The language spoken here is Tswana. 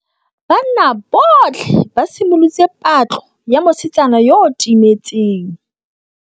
Banna botlhê ba simolotse patlô ya mosetsana yo o timetseng.